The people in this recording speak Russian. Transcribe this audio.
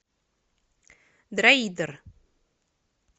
дроидер